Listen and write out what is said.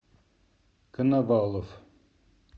коновалов